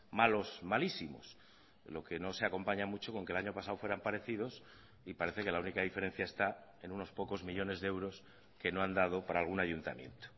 malos malísimos lo que no se acompaña mucho con que el año pasado fueran parecidos y parece que la única diferencia está en unos pocos millónes de euros que no han dado para algún ayuntamiento